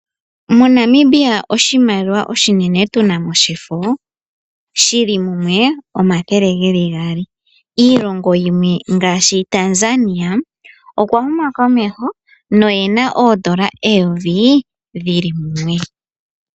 MoNamibia oshimaliwa oshinene tunamo shefo shili mumwe omathele gaali, iilongo yimwe ngaashi Tanzania okwa huma komeho no yena oondola eyovi dhili mumwe.